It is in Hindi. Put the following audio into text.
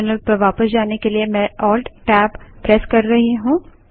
टर्मिनल पर वापस जाने के लिए मैं ALT Tab alt tab press कर रही हूँ